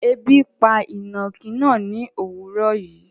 Ẹbi pa inákì náà ni owuró yìí